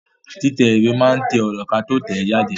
Títẹ̀ ìwé máa to ọ̀rọ̀ kí a tó tẹ̀ẹ́ jáde